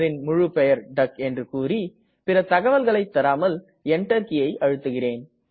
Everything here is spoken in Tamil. முழுப்பெயர் டக் என்று கூறி பிற தகவல்களை தராமல் Enter கீயை அழுத்துகிறேன்